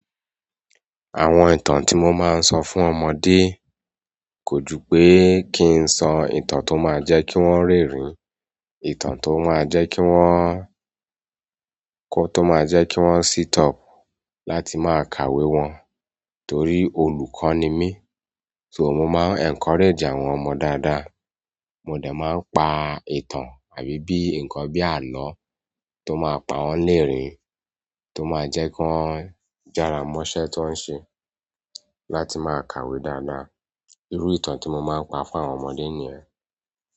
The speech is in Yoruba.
Àwọn ìtàn tí mo máa ń sọ fún ọmọdé kò ju pé kí n sọ ìtàn tó máa jẹ́ kí wọ́n rẹ́rìn, ìtàn tó máa jẹ́ kí wọ́n, kó tó máa jẹ́ kí wọ́n sseat up láti máa kàwé wọn. Torí olùkọ́ ni mí, so mo máa encourage àwọn ọmọ dáadáa. Mo dẹ máa ń pa ìtàn àbí bí nǹkan bí àló tó máa pa wọ́n lẹ́rìn tó máa jẹ́ kí wọ́n jára mọ́ṣẹ́ tan ń ṣe láti máa kàwé dáadáa. Iru ìtàn ti mo maa n pa fún àwọn ọmọdé niyẹn.